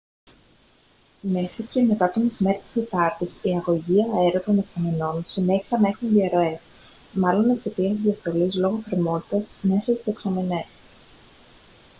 μέχρι και μετά το μεσημέρι της τετάρτης οι αγωγοί αέρα των δεξαμενών συνέχισαν να έχουν διαρροές μάλλον εξαιτίας της διαστολής λόγω θερμότητας μέσα στις δεξαμενές